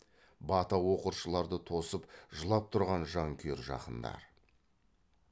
бата оқыршыларды тосып жылап тұрған жанкүйер жақындар